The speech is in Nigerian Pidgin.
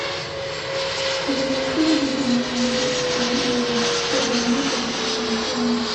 I dey maintain good relationship wit my in-laws but dem no go fit control me.